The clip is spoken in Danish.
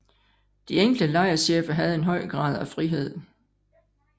De enkelte lejrchefer havde en høj grad af frihed